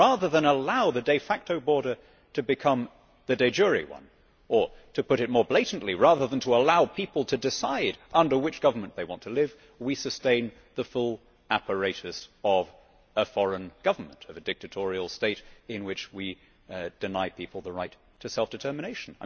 But rather than allow the de facto border to become the de jure one or, to put it more blatantly, rather than allowing people to decide under which government they want to live, we sustain the full apparatus of a foreign government, a dictatorial state, in which we deny the people the right to self determination.